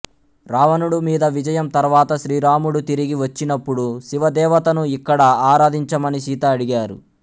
రావణుడు మీద విజయం తర్వాత శ్రీరాముడు తిరిగి వచ్చినప్పుడు శివ దేవతను ఇక్కడ ఆరాధించమని సీత అడిగారు